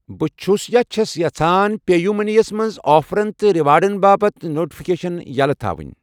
بہٕ چھَُس چھَس یژھان پے یوٗ مٔنی یَس منٛز آفرَن تہٕ ریوارڑَن باپتھ نوٹفکیشن یَلٔۍ تھاوُن